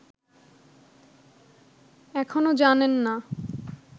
এখনো জানেন না